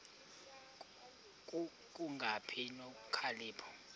ku kungabi nokhalipho